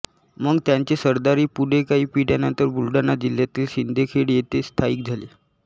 मग त्यांचे सरदारही पुढे काही पिढ्यानंतर बुलढाणा जिल्ह्यातील सिंदखेड येथे स्थायिक झाले